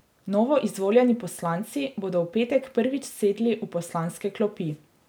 Novoizvoljeni poslanci bodo v petek prvič sedli v poslanske klopi.